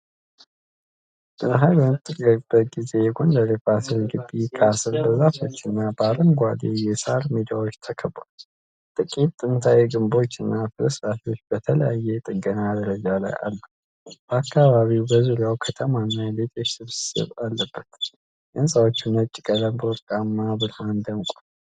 ፀሐይ በምትጠልቅበት ጊዜ የጎንደር የፋሲል ግቢ ካስል በዛፎችና በአረንጓዴ የሣር ሜዳዎች ተከቧል። ጥቂት ጥንታዊ ግንቦችና ፍርስራሾች በተለያየ የጥገና ደረጃ ላይ አሉ። አካባቢው በዙሪያው ከተማና የቤቶች ስብስብ አለበት። የሕንጻዎቹ ነጭ ቀለም በወርቃማው ብርሃን ደምቋል።